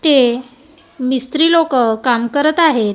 ते मिस्त्री लोकं काम करत आहेत.